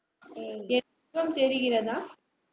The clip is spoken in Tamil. தெரிகிறதா